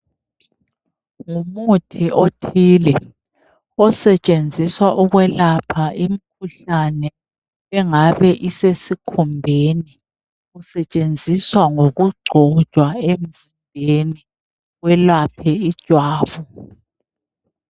Ngumuthi othile osetshenziswa ukwelapha imkhuhlane engabe isesikhumbeni. Usetshenziswa ngokugcotshwa emzimbeni welaphe ijwabu.